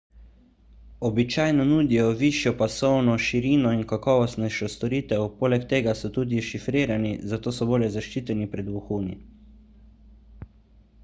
običajno nudijo višjo pasovno širino in kakovostnejšo storitev poleg tega so tudi šifrirani zato so bolje zaščiteni pred vohuni